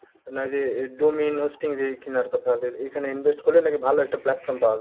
না এইযে এ domain hosting যে কিনার কথা আছে এখানে invest করলে নাকি ভালো একটা platform পাওয়া যায়।